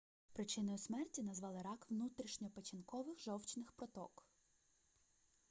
причиною смерті назвали рак внутрішньопечінкових жовчних проток